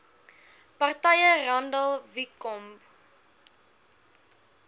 partye randall wicomb